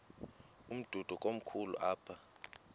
umdudo komkhulu apha